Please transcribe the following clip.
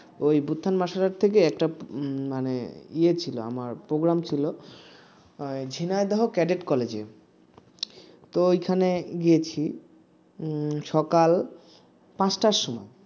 ওই বুত্থান martial art থেকে একটা মানে আমার program ছিল ঝিনাইদহ ক্যাডেট কলেজে তো এখানে গিয়েছি উম সকাল পাঁচটার সময়